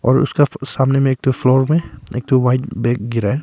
और उसका सामने में एक ठो फ्लोर में एक ठो व्हाइट बैग गिरा है।